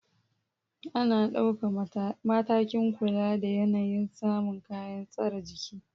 Ana dauka matakin kula da yanayin samun kayan tsare jiki